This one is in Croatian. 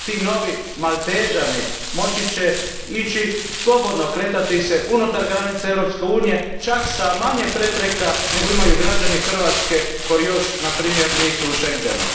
Ti novi Maltežani moći će ići slobodno, kretati se unutar granica Europske unije, čak s manje prepreka nego imaju građani Hrvatske koji još na primjer nisu u Schengenu.